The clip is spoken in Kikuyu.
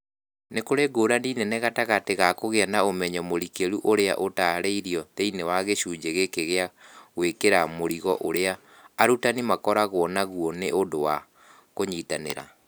Nĩ kũrĩ ngũrani nene gatagatĩ ka kũgĩa na ũmenyo mũrikĩru ũrĩa ũtaarĩirio thĩinĩ wa gĩcunjĩ gĩkĩ na gwĩtĩkĩra mũrigo ũrĩa arutani makoragwo naguo nĩ ũndũ wa kũnyitanĩra.